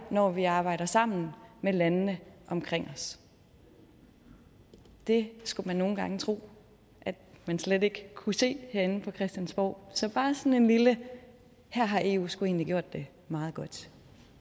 når vi arbejder sammen med landene omkring os det skulle man nogle gange tro man slet ikke kunne se herinde på christiansborg så bare sådan en lille her har eu sgu egentlig gjort det meget godt